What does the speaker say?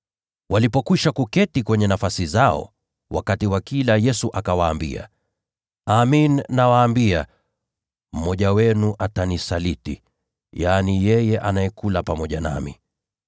Walipoketi mezani wakila, Yesu akawaambia, “Amin, nawaambia, mmoja wenu atanisaliti, mmoja anayekula pamoja nami.”